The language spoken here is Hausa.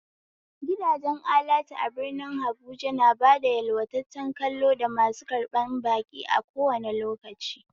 Gidajen alatu a birnin habuja na bada yalwataccen kallo da masu karɓan baki a kowane lokaci